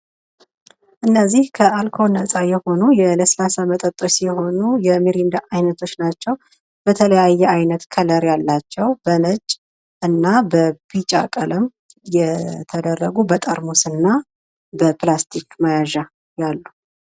እነዚህ ከአልኮል ነጻ የሆኑ የለስላሳ መጠጦች ሲሆኑ የሚሪንዳ አይነቶች ናቸዉ። በተለያየ አይነት ከለር ያላቸው በነጭ በቢጫ ቀለም የተደረጉ በጠርሙስ እና በፕላስቲክ መያዣ ያለ።